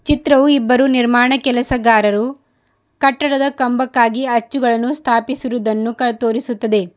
ಚಿತ್ರವು ಇಬ್ಬರು ನಿರ್ಮಾಣ ಕೆಲಸಗಾರರು ಕಟ್ಟಡದ ಕಂಬಕ್ಕಾಗಿ ಅಚ್ಚುಗಳನ್ನು ಸ್ಥಾಪಿಸಿರುವುದನ್ನು ತೋರಿಸುತ್ತದೆ.